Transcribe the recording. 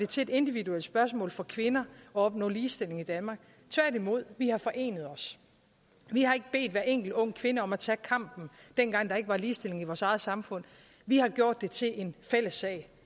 til et individuelt spørgsmål for kvinder at opnå ligestilling i danmark tværtimod vi har forenet os vi har ikke bedt hver enkelt ung kvinde om at tage kampen dengang der ikke var ligestilling i vores eget samfund vi har gjort det til en fælles sag